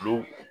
Olu